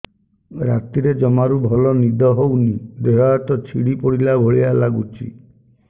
ରାତିରେ ଜମାରୁ ଭଲ ନିଦ ହଉନି ଦେହ ହାତ ଛିଡି ପଡିଲା ଭଳିଆ ଲାଗୁଚି